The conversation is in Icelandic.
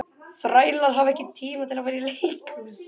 Þrælar hafa ekki tíma til að fara í leikhús.